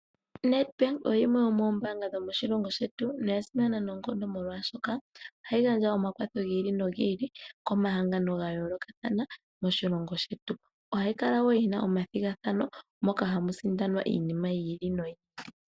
NedBank oyo yimwe yomoombaanga dhomoshilongo shetu noya simana noonkondo molwaashoka ohayi gandja omakwatho gi ili nogi ili komahangano gayoolokathana moshilongo shetu. Ohayi kala wo yina omathigathano moka hamu sindanwa iinima yi ili noyi ili.